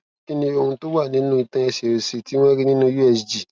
kí ni ohun to wa ninú itan ẹsẹ òsì tí wọn rí nínú usg